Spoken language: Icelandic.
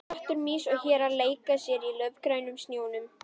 Rottur, mýs og hérar leika sér í laufgrænum snjónum.